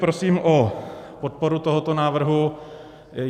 Prosím o podporu tohoto návrhu.